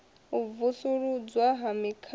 u vusuludzwa ha mikhwa ya